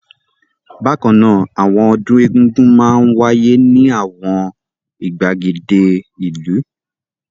Bákan náà, àwọn ọdún Egúngún máa ń wáyé ní àwọn ìgbàgede ìlú.